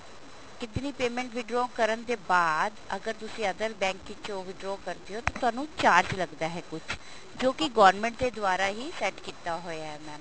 ਕਿਤਨੀ payment withdraw ਕਰਨ ਤੋਂ ਬਾਅਦ ਅਗਰ ਤੁਸੀਂ other bank ਚੋਂ withdraw ਕਰਦੇ ਹੋ ਤਾਂ ਤੁਹਾਨੂੰ charge ਲੱਗਦਾ ਹੈ ਕੁੱਝ ਜੋ ਕੀ government ਦੇ ਦੁਆਰਾ ਹੀ set ਕੀਤਾ ਹੋਇਆ mam